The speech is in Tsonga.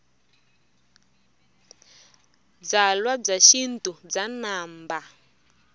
byalwa bya xintu bya namba